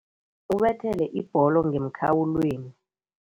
Ubethele ibholo ngemkhawulweni.